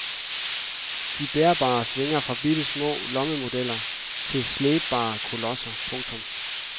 De bærbare svinger fra bittesmå lommemodeller til slæbbare kolosser. punktum